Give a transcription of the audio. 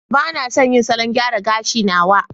Ba na son yin salon gyara gashi na waya.